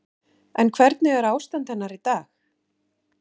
En hvernig er ástand hennar í dag?